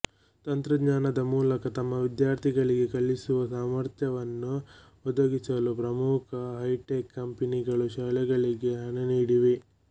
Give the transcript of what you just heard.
ತಂತ್ರಜ್ಞಾನದ ಮೂಲಕ ತಮ್ಮ ವಿದ್ಯಾರ್ಥಿಗಳಿಗೆ ಕಲಿಸುವ ಸಾಮರ್ಥ್ಯವನ್ನು ಒದಗಿಸಲು ಪ್ರಮುಖ ಹೈಟೆಕ್ ಕಂಪನಿಗಳು ಶಾಲೆಗಳಿಗೆ ಹಣ ನೀಡಿವೆ